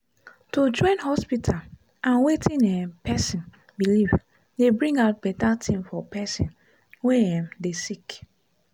to join hospita and wetin um pesin belief dey bring out beta tin for pesin wey um dey sick